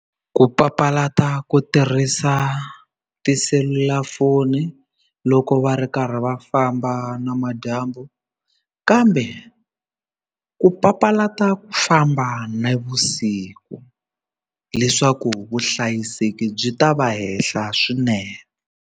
Ku papalata ku tirhisa tiselulafoni loko va ri karhi va famba namadyambu kambe ku papalata ku famba navusiku leswaku vuhlayiseki byi ta va henhla swinene.